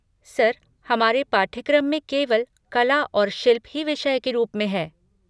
Sir, हमारे पाठ्यक्रम में केवल कला और शिल्प ही विषय के रूप में है।